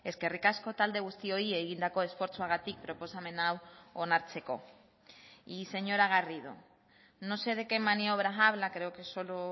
eskerrik asko talde guztioi egindako esfortzuagatik proposamen hau onartzeko y señora garrido no sé de qué maniobras habla creo que solo